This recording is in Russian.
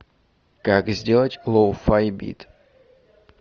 как сделать лоу фай бит